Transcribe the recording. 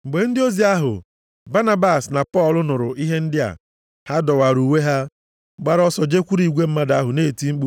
Mgbe ndị ozi ahụ, Banabas na Pọl nụrụ ihe ndị a, ha dọwara uwe ha, gbara ọsọ jekwuru igwe mmadụ ahụ na-eti mkpu,